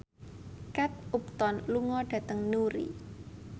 Kate Upton lunga dhateng Newry